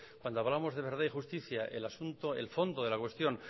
cuando hablamos de verdad y justicia el asunto el fondo de la cuestión